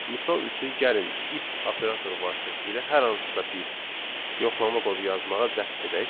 Misal üçün gəlin if operator vasitəsilə hər hansısa bir yoxlama kodu yazmağa cəhd edək.